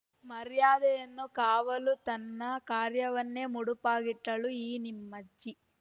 ಮರ್ಯಾದೆಯನ್ನೂ ಕಾವ ಲು ತನ್ನ ಕಾರ್ಯವನ್ನೇ ಮುಡುಪಾಗಿಟಳು ಈ ನಮ್ಮಜ್ಜಿ